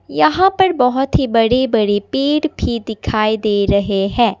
यहां पर बहुत ही बड़े बड़े पेड़ भी दिखाई दे रहे हैं।